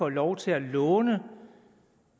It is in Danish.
lov til at låne